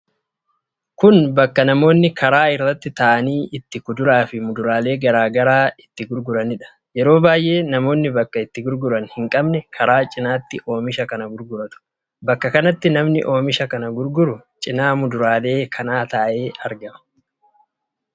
Kun bakka namoonni karaa irra taa'anii itti kuduraa fi muduraalee garaa garaa itti gurguraniidha. Yeroo baay'ee namoonni bakka itti gurguran hin qabne karaa cinaatti oomisha kana gurguratu. Bakka kanatti namni oomisha kana gurguru cina muduraalee kanaa taa'ee argama.